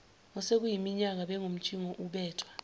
osekuyiminyaka bengumtshingo ubethwa